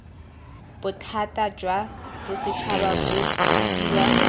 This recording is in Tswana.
bothata jwa bosetšhaba bo bidiwa